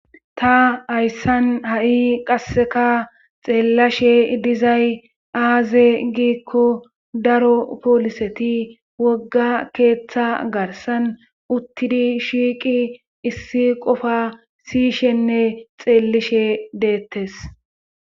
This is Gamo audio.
Ta hayssan ha'i qasseka xeellashe dizay aaze giikko daro pooliseti wogga keeththa garsan uttidi shiiqi issi qofa siyishenne xeellishe deettes.